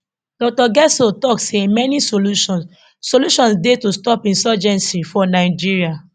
dr getso tok say many solutions solutions dey to stop insurgency for nigeria